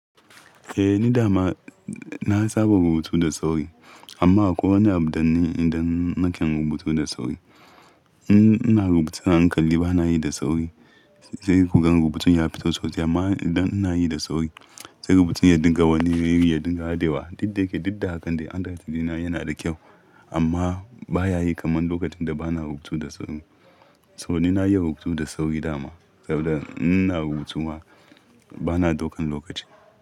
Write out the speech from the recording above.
Eh ni dama na saba rubutu da sauri amma akwai wani abu da ni idan nake rubutu da sauri. In ina rubutun a hankali bana yi da sauri sai ku gan rubutun ya fito sosai amma idan ina yi da sauri sai rubutun ya dinga wani ya dinga hadewa. Didda yake didda akan dai hand wrtting dina yana da kyau amma baya yi kamar lokacin da bana rubutu da sauri. Saboda yayi rubutu da sauri dama saboda ina rubutu ma bana daukan lokaci.